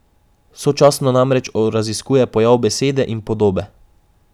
Sočasno namreč raziskuje pojav besede in podobe.